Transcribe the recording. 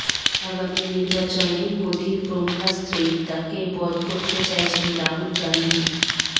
আগামী নির্বাচনে মোদীর ব্রহ্মাস্ত্রেই তাঁকে বধ করতে চাইছেন রাহুল গান্ধী